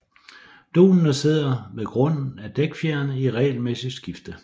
Dunede sidder ved grunden af dækfjerene i regelmæssigt skifte